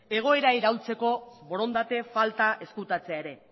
egoera iraultzeko borondate falta ezkutatzea ere